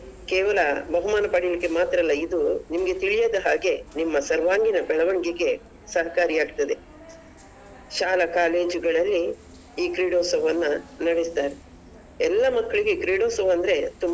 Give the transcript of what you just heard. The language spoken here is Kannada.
ಪಡೀಲಿಕ್ಕೆ ಮಾತ್ರ ಅಲ್ಲ ಇದು ನಿಮ್ಗೆ ತಿಳಿಯದ ಹಾಗೆ ನಿಮ್ಮ ಸರ್ವಾಂಗೀಣ ಬೆಳವಣಿಗೆಗೆ ಸಹಕಾರಿ ಆಗ್ತದೆ, ಶಾಲಾ college ಗಳಲ್ಲಿ ಈ ಕ್ರೀಡೋತ್ಸವವನ್ನ ನಡಿಸ್ತಾರೆ ಎಲ್ಲ ಮಕ್ಳಿಗೆ ಈ ಕ್ರೀಡೋತ್ಸವ.